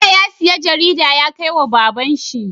Bello ya siya jarida yakai wa baban shi